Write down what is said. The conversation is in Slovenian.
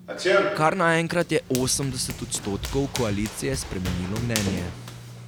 Kar naenkrat je osemdeset odstotkov koalicije spremenilo mnenje.